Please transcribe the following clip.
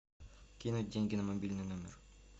кинуть деньги на мобильный номер